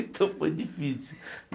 Então foi difícil.